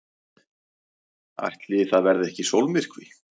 Ætli það verði ekki sólmyrkvi!